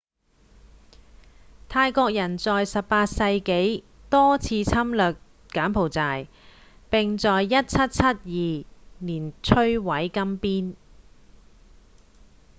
泰國人在18世紀多次侵略柬埔寨並在1772年摧毀金邊